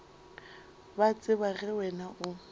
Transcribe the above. ba tseba ge wena o